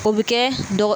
O bɛ kɛ dɔgɔ